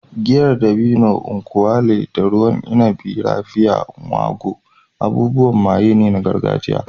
Giyar dabino (nkwu elu) da ruwan inabi "Raphia" (Ngwo) abubuwan maye ne na gargajiya.